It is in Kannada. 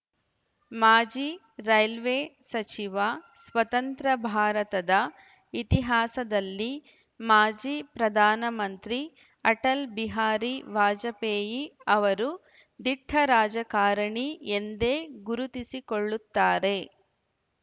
ಮಾಜಿ ರೈಲ್ವೆ ಸಚಿವ ಸ್ವತಂತ್ರ ಭಾರತದ ಇತಿಹಾಸದಲ್ಲಿ ಮಾಜಿ ಪ್ರಧಾನಮಂತ್ರಿ ಅಟಲ್‌ಬಿಹಾರಿ ವಾಜಪೇಯಿ ಅವರು ದಿಟ್ಟರಾಜಕಾರಣಿ ಎಂದೇ ಗುರುತಿಸಿಕೊಳ್ಳುತ್ತಾರೆ